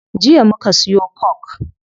Jiya muka siyo coke